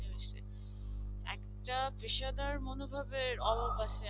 একটা পেশাদার মনোভাবের অভাব আছে